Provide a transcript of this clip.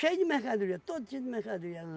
de mercadoria, todo tipo de mercadoria.